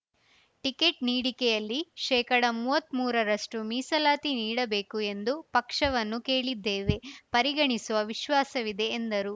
ticket ನೀಡಿಕೆಯಲ್ಲಿ ಶೇಕಡಾಮೂವತ್ಮೂರರಷ್ಟುಮೀಸಲಾತಿ ನೀಡಬೇಕು ಎಂದು ಪಕ್ಷವನ್ನು ಕೇಳಿದ್ದೇವೆ ಪರಿಗಣಿಸುವ ವಿಶ್ವಾಸವಿದೆ ಎಂದರು